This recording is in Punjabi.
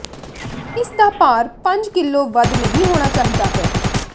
ਇਸ ਦਾ ਭਾਰ ਪੰਜ ਕਿਲੋ ਵੱਧ ਨਹੀ ਹੋਣਾ ਚਾਹੀਦਾ ਹੈ